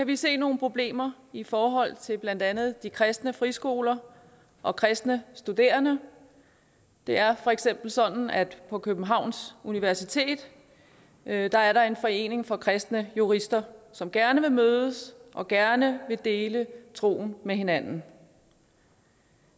vi se nogle problemer i forhold til blandt andet kristne friskoler og kristne studerende det er for eksempel sådan at på københavns universitet er der er der en forening for kristne jurister som gerne vil mødes og gerne vil dele troen med hinanden